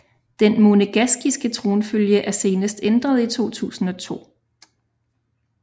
Den monegaskiske tronfølge er senest ændret i 2002